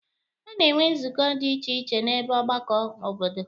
A na-enwe nzukọ dị iche iche n'ebe mgbakọ obodo.